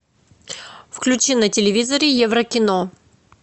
включи на телевизоре еврокино